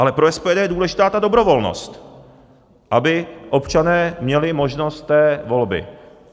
Ale pro SPD je důležitá ta dobrovolnost, aby občané měli možnost té volby.